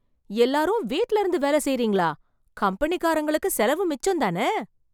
எல்லாரும் வீட்ல இருந்து வேல செய்றீங்களா , கம்பெனிக்காரங்களுக்கு செலவு மிச்சம்தான...